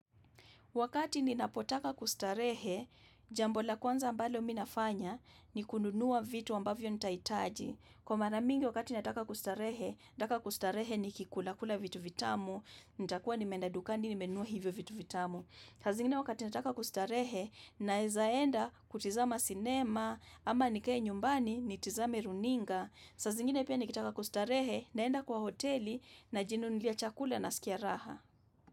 Wakati ninapotaka kustarehe, jambo la kwanza ambalo mi nafanya ni kununua vitu wambavyo nitaitaji. Kwa mara mingi wakati nataka kustarehe, nataka kustarehe nikikulakula vitu vitamu, nitakuwa nimeenda dukani, nimenunua hivyo vitu vitamu. Saa zingine wakati nataka kustarehe, naeza enda kutizama sinema, ama nikeye nyumbani, nitizame runinga. Saa zingine pia nikitaka kustarehe, naenda kwa hoteli, najinunulia chakula nasikia raha.